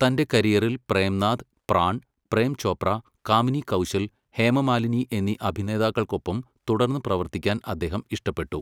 തൻ്റെ കരിയറിൽ പ്രേംനാഥ്, പ്രാൺ, പ്രേം ചോപ്ര, കാമിനി കൗശൽ, ഹേമമാലിനി എന്നീ അഭിനേതാക്കൾക്കൊപ്പം തുടർന്ന് പ്രവർത്തിക്കാൻ അദ്ദേഹം ഇഷ്ടപ്പെട്ടു.